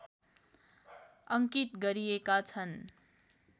अङ्कित गरिएका छन्